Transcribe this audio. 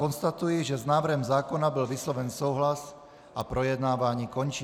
Konstatuji, že s návrhem zákona byl vysloven souhlas, a projednávání končím.